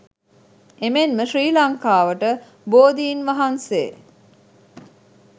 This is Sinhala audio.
එමෙන්ම ශ්‍රී ලංකාවට බෝධීන් වහන්සේ